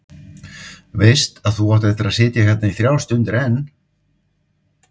Veist að þú átt eftir að sitja hérna í þrjár stundir enn.